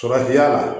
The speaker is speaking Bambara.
Farati ya la